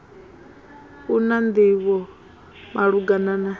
a na nḓivho malugana na